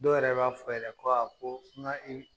Dɔw yɛrɛ b'a fɔ yɛlɛ ko koo ŋa i